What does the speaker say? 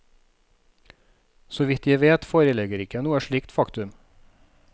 Så vidt jeg vet foreligger ikke noe slikt faktum.